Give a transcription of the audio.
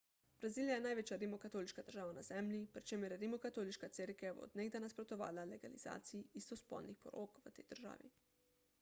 brazilija je največja rimokatoliška država na zemlji pri čemer je rimokatoliška cerkev od nekdaj nasprotovala legalizaciji istospolnih porok v tej državi